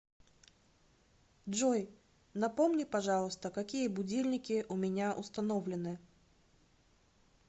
джой напомни пожалуйста какие будильники у меня установлены